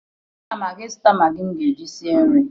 Ana m aga ịzụta magị m ga-eji sie nri